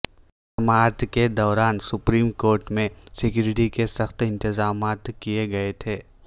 سماعت کے دوران سپریم کورٹ میں سکیورٹی کے سخت انتظامات کئے گئے تھے